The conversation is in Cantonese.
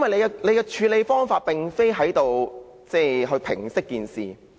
他的處理方法並非旨在平息事件。